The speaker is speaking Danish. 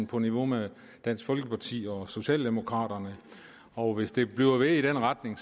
på niveau med dansk folkeparti og socialdemokraterne og hvis det bliver ved i den retning